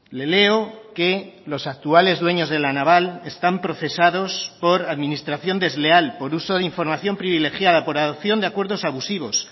le leo que los actuales dueños de la naval están procesados por administración desleal por uso de información privilegiada por adopción de acuerdos abusivos